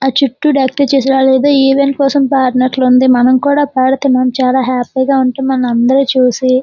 ఆ చుట్టు బాగా డెక్కలు చేశారు అడియాడో ఈవెంట్ కోసమ్ పాడినటు వుంది మనము కూడా పాడితే మనము కూడా చాలా హ్యాపీగా ఉంటాము మనము అందరము చూసి.